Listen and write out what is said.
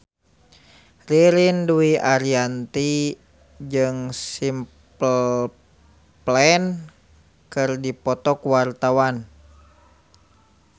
Ririn Dwi Ariyanti jeung Simple Plan keur dipoto ku wartawan